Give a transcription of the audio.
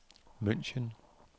München